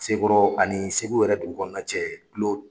Sekɔrɔ ani segu yɛrɛ dugu kɔnɔna cɛ